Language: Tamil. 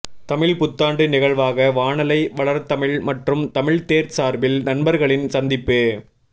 தமிழ்ப்புத்தாண்டு நிகழ்வாக வானலை வளர்தமிழ் மற்றும் தமிழ்த்தேர் சார்பில் நண்பர்களின் சந்திப்பு